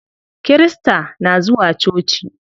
Kirista na zuwa coci.